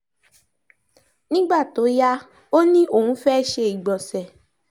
nígbà tó yá ó ní òun fẹ́ẹ́ ṣe ìgbọ̀nsẹ̀